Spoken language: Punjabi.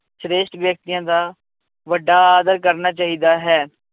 ਸ੍ਰੇਸ਼ਟ ਵਿਅਕਤੀਆਂ ਦਾ ਵੱਡਾ ਆਦਰ ਕਰਨਾ ਚਾਹੀਦਾ ਹੈ।